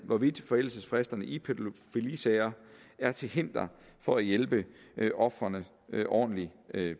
hvorvidt forældelsesfristerne i pædofilisager er til hinder for at hjælpe ofrene ordentligt